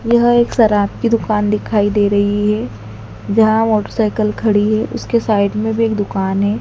यह एक शराब की दुकान दिखाई दे रही है जहां मोटरसाइकल खड़ी है उसके साइड में भी एक दुकान है।